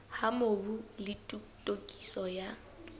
ha mobu le tokiso ya